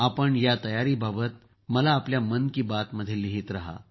आपण या तयारीबाबत मला आपल्या मन की बातमध्ये मला लिहीत रहा